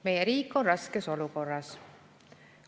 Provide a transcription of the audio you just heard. Meie riik on raskes olukorras.